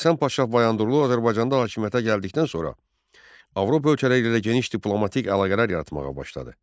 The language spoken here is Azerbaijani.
Həsən Padşah Bayandurlu Azərbaycanda hakimiyyətə gəldikdən sonra Avropa ölkələri ilə də geniş diplomatik əlaqələr yaratmağa başladı.